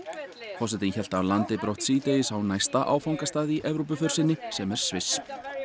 forsetinn hélt af landi brott síðdegis á næsta áfangastað í Evrópuför sinni sem er Sviss